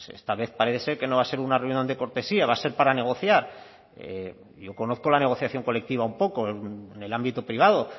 esta vez parece ser que no va a ser una reunión de cortesía va a ser para negociar yo conozco la negociación colectiva un poco en el ámbito privado